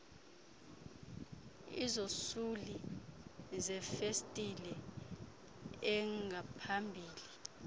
izosuli zefesitile engaphambili